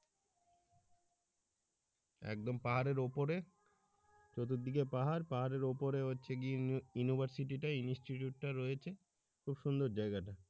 একদম পাহাড়ের উপরে চতুর্দিকে পাহাড় পাহাড়ের উপরে হচ্ছে গিয়ে university institute টা রয়েছে খুব সুন্দর জায়গা টা।